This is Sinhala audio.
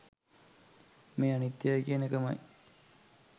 මේ අනිත්‍යයයි කියන එකමයි.